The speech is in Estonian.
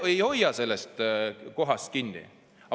Mina ei hoia sellest kohast kinni.